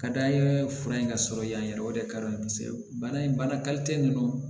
Ka d'an ye fura in ka sɔrɔ yan yɛrɛ o de ka di an ye kosɛbɛ bana in bana ninnu